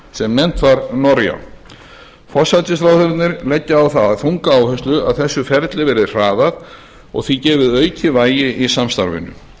sem nefnt var noria forsætisráðherrarnir leggja á það þunga áherslu að þessu ferli verði hraðað og því gefið aukið vægi í samstarfinu